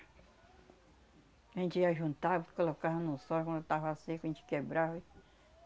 A gente ia juntava e colocava no sol, e quando tava seco a gente quebrava e